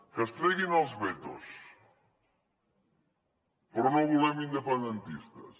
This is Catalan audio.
que es treguin els vetos però no volem independentistes